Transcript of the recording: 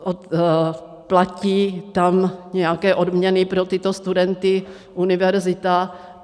Platí tam nějaké odměny pro tyto studenty univerzita.